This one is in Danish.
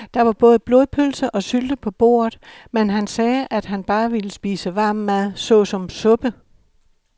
Der var både blodpølse og sylte på bordet, men han sagde, at han bare ville spise varm mad såsom suppe.